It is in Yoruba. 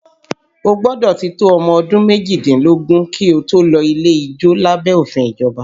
O gbọ́dọ̀ ti tó ọmọ ọdún méjìdínlógún kí o tó lè lọ ilé ijó lábẹ́ òfin ìjọba